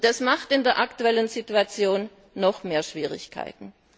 Das macht in der aktuellen Situation noch mehr Schwierigkeiten.